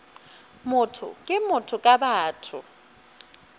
motho ke motho ka batho